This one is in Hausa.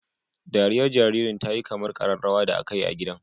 Dariyar jaririn ta yi kamar kararrawar da aka yi a gidan.